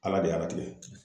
Ala de y'a latigɛ.